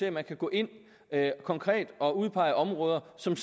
om at gå ind konkret og udpege områder som